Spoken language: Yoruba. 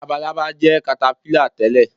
Labalábá jẹ́ katapílà tẹ̀lé